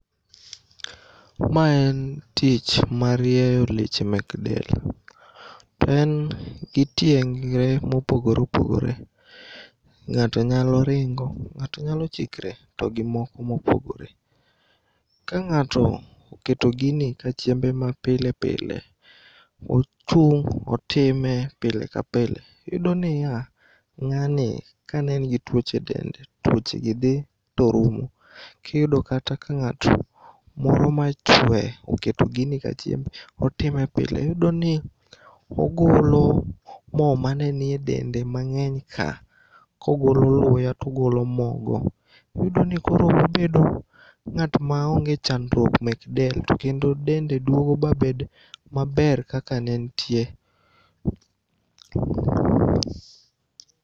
Ma en tich mar rieyo leche mek del. To en gi tieng're mopogore opogore.Ng'ato nyalo ringo, ng'ato nyalo chikre to gi moko mopogore. Ka ng'ato oketo gini ka chiembe mapile pile. Ochung' otime pile ka pile. Iyudo niya ng'ani kanen gi tuoche e dende to tuochegi dhi torumo. Kiyudo kata kang'ato moro machue oketo gini ka chiembe otime pile, iyudoni, ogolo moo manenie dende mang'eny ka kogolo luya togolo moo go. Iyudoni koro obedo ng'at maonge chandruok mek del to kendo dende duogo babed maber kaka nentie.